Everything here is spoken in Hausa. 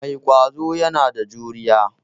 Mai ƙwazo yana da juriya.